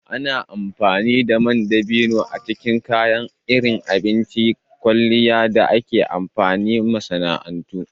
Ana amfani da man dabino a cikin kayan abinci iri-iri, kayan kwalliya, da aikace-aikacen masana'antu.